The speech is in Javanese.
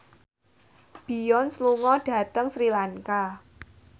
Beyonce lunga dhateng Sri Lanka